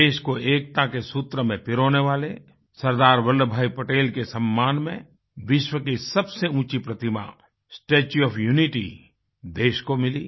देश को एकता के सूत्र में पिरोने वाले सरदार वल्लभभाई पटेल के सम्मान में विश्व की सबसे ऊँची प्रतिमा स्टेच्यू ओएफ यूनिटी देश को मिली